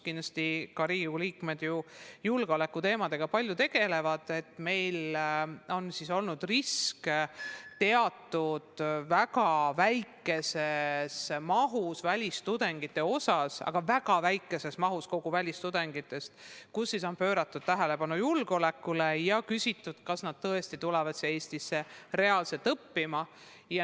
Kindlasti teavad ka Riigikogu liikmed, kes julgeolekuteemadega palju tegelevad, et meil on olnud risk teatud väikese osa välistudengite puhul – see puudutab väga väikest osa kogu välistudengite hulgast –, kui on pööratud tähelepanu riigi julgeolekule ja küsitud, kas nad tõesti tulevad siia Eestisse reaalselt õppima.